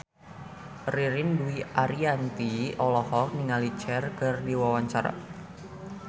Ririn Dwi Ariyanti olohok ningali Cher keur diwawancara